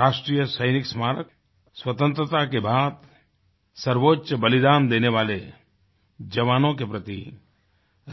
राष्ट्रीय सैनिक स्मारक स्वतंत्रता के बाद सर्वोच्च बलिदान देने वाले जवानों के प्रति